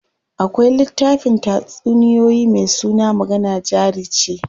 Akwai littafin tatsuniyoyi me suna magana jari ce.